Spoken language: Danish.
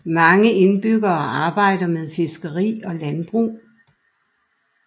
Mange indbyggere arbejder med fiskeri og landbrug